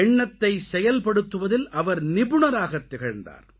எண்ணத்தைச் செயல்படுத்துவதில் அவர் நிபுணராகத் திகழ்ந்தார்